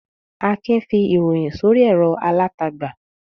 Akin fi ìròyìn sórí ẹ̀rọ alátagbà.